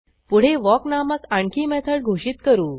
पुढे वॉक नामक आणखी मेथड घोषित करू